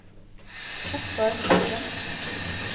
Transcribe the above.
Ottar Bekken